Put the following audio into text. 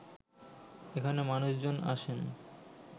এখানে মানুষজন আসেন